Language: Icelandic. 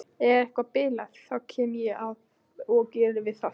Ef eitthvað bilar þá kem ég og geri við það.